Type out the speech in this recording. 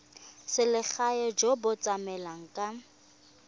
selegae jo bo tlamelang ka